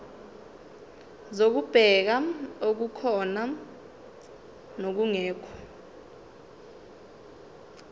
zokubheka okukhona nokungekho